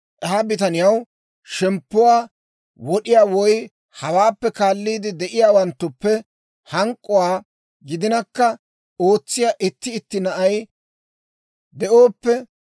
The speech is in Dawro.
«Ha bitaniyaw shemppuwaa wod'iyaa, woy hawaappe kaaliide de'iyaawanttuppe hak'awaa gidinakka ootsiyaa itti iita na'ay de'ooppe,